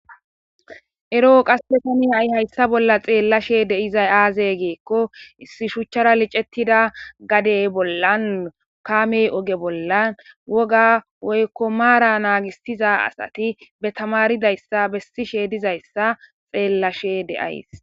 eroo qasse kami ay hayssa bolla xeellashe deizay aaze geekko issi shuchchara licettida gadey bollan kaamey oge bollan woga woykko maara naagisiza asati be tamaridayssa bessishe dizayssa xeellashe deays